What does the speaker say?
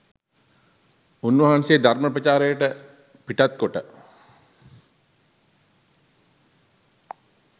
උන්වහන්සේ ධර්ම ප්‍රචාරයට පිටත්කොට